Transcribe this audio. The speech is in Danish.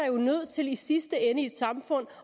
jo nødt til i sidste ende i et samfund